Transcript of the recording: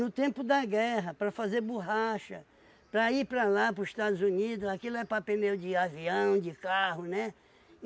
tempo da guerra, para fazer borracha, para ir para lá, para os Estados Unidos, aquilo é para pneu de avião, de carro, né?